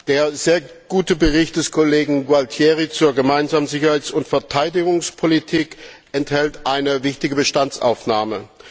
Der sehr gute Bericht des Kollegen Gualtieri über die Gemeinsame Sicherheits und Verteidigungspolitik enthält eine wichtige Bestandsaufnahme.